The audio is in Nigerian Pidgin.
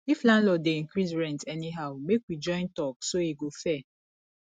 if landlord dey increase rent anyhow make we join talk so e go fair